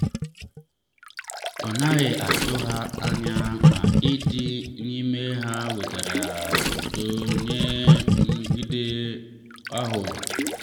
a naghị atụ ha anya ma ịdị n’ime ha wetara udo nye nrụgide ahụ.